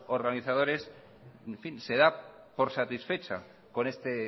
organizadores en fin se da por satisfecha con este